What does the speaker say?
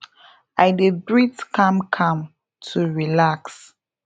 i dey breathe calm calm to relax